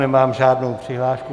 Nemám žádnou přihlášku.